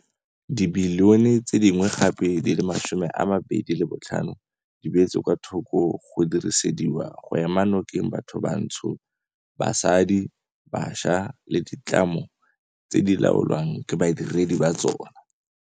Dibilione tse dingwe gape di le 25 di beetswe kwa thoko go dirisediwa go ema nokeng bathobantsho, basadi, bašwa le ditlamo tse di laolwang ke badiredi ba tsona.